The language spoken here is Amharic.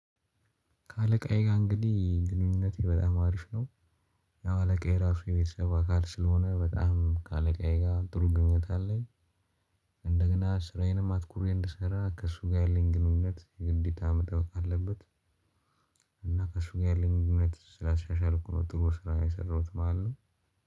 ከአለቃዬ ጋር እንግዲህ ግንኙነቴ በጣም አሪፍ ነው። ያው አለቃዬ ራሱ የቤተሰብ አካል ስለሆነ በጣም ከአለቃዬ ጋር ጥሩ ግንኙነት አለኝ። እንደገና ስራዬንም አትኩሬ እንድሰራ ከእሱ ጋር ያለኝ ግንኙነት ግዴታ መጠበቅ አለበት። እና ከእሱ ጋር ያለኝ ግንኙነት ስላሻሻልኩ ነው ጥሩ ስራ የሰራሁት ማለት ነው